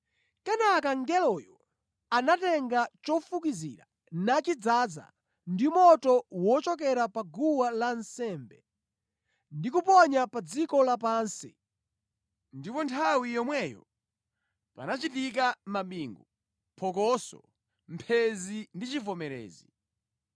Kenaka mngeloyo anatenga chofukizira nachidzaza ndi moto wochokera pa guwa lansembe ndi kuponya pa dziko lapansi ndipo nthawi yomweyo panachitika mabingu, phokoso, mphenzi ndi chivomerezi.